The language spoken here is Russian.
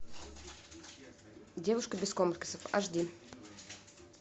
девушка без комплексов аш ди